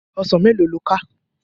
Òsán méló ló ká?